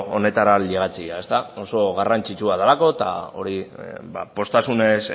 honetara ailegatzea ezta oso garrantzitsua delako eta hori poztasunez